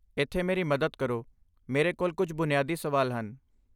ਇੱਥੇ ਮੇਰੀ ਮਦਦ ਕਰੋ, ਮੇਰੇ ਕੋਲ ਕੁਝ ਬੁਨਿਆਦੀ ਸਵਾਲ ਹਨ।